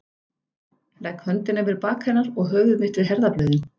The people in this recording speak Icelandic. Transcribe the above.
Legg höndina yfir bak hennar og höfuð mitt við herðablöðin.